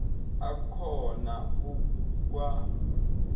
akhona ku kwa